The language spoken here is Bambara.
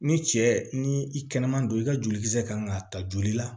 Ni cɛ ni i kɛnɛma don i ka jolikisɛ kan ka ta joli la